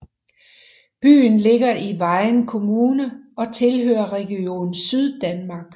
Byen ligger i Vejen Kommune og tilhører Region Syddanmark